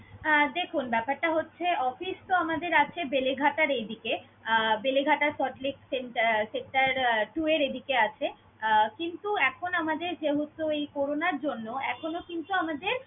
আহ দেখুন ব্যাপারটা হচ্ছে office তো আমাদের আছে বেলেঘাটার এদিকে আহ বেলেঘাটা centre~ sector two এর এদিকে আছে। আহ কিন্তু এখন আমাদের যেহেতু এই করোনার জন্য এখনো কিন্তু আমাদের